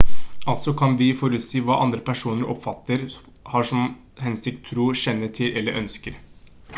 altså så kan vi forutsi hva andre personer oppfatter har som hensikt tror kjenner til eller ønsker